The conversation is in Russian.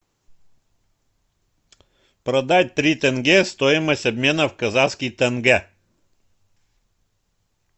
продать три тенге стоимость обмена в казахских тенге